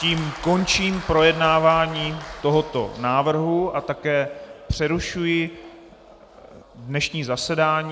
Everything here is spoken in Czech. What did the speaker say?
Tím končím projednávání tohoto návrhu a také přerušuji dnešní zasedání.